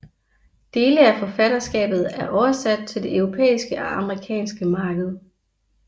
Dele af forfatterskabet er oversat til det europæiske og amerikanske marked